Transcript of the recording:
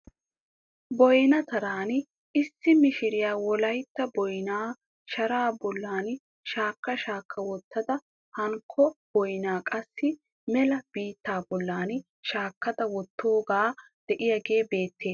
Boyna taran issi mishiriya wolayitta boynaa sharaa bollan shaakka shaakka wottada hankko boynaa qassi mela bittaa bolli shakkada wottidogge diyaagee beettes.